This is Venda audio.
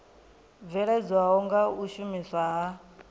bveledzwaho nga u shumiswa ha